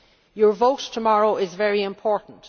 way. Your vote tomorrow is very important.